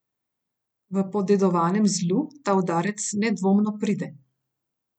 V Podedovanem zlu ta udarec nedvomno pride.